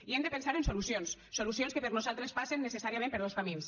i hem de pensar en solucions solucions que per nosaltres passen necessàriament per dos camins